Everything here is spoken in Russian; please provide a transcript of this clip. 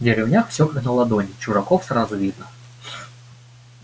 в деревнях всё как на ладони чужаков сразу видно